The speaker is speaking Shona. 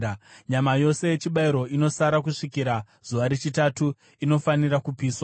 Nyama yose yechibayiro inosara kusvikira zuva rechitatu inofanira kupiswa.